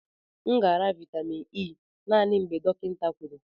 M ga-anara vitamin E naanị mgbe dọkịta kwuru.